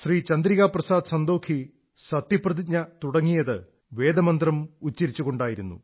ചന്ദ്രികാ പ്രസാദ് സന്തോഖി സത്യപ്രതിജ്ഞ തുടങ്ങിയത് തുടക്കം വേദമന്ത്രം ഉച്ചരിച്ചുകൊണ്ടായിരുന്നു